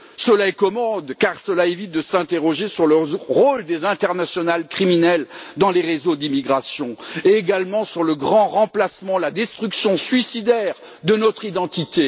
Cela est commode, car cela évite de s'interroger sur le rôle des internationales criminelles dans les réseaux d'immigration et également sur le grand remplacement, la destruction suicidaire, de notre identité.